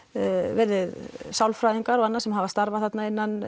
verið sálfræðingar og annað sem hafa starfað þarna innan